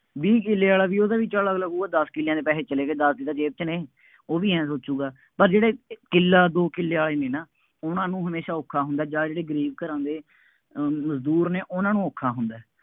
ਵੀਹ ਕਿੱਲੇ ਆਲਾ ਵੀ ਉਹਦਾ ਵੀ ਚੱਲ ਅਗਲਾ ਕਹੂਗਾ ਦੱਸ ਕਿੱਲਿਆਂ ਦੇ ਪੈਸੇ ਚਲੇ ਗਏ, ਦੱਸ ਤਾਂ ਜ਼ੇਬ ਚ ਨੇ, ਉਹ ਵੀ ਆਂਏਂ ਸੋਚੂਗਾ, ਪਰ ਜਿਹੜੇ ਕਿੱਲਾ ਦੋ ਕਿੱਲੇ ਵਾਲੇ ਨੇ ਨਾ, ਉਹਨਾ ਨੂੰ ਹਮੇਸ਼ਾ ਔਖਾਂ ਹੁੰਦਾ ਜਾਂ ਜਿਹੜੇ ਗਰੀਬ ਘਰਾਂ ਦੇ ਅਮ ਮਜ਼ਦੂਰ ਨੇ ਉਹਨਾ ਨੂੰ ਔਖਾਂ ਹੁੰਦਾ ਹੈ।